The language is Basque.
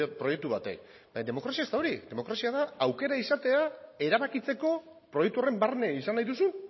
proiektu batek demokrazia ez da hori demokrazia da aukera izatea erabakitzeko proiektu horren barne izan nahi duzun